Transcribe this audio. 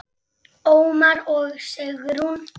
Ómar og Sigrún.